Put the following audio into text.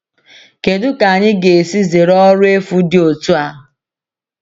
Kedu ka anyị ga - esi zere ọrụ efu dị otu a?